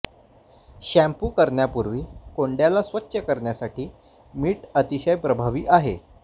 shampoo करण्यापूर्वी कोंड्याला स्वच्छ करण्यासाठी मीठ अतिशय प्रभावी आहे